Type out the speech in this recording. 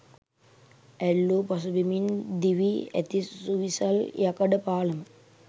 ඇල්ල පසුබිමින් ඉදිවී ඇති සුවිසල් යකඩ පාලම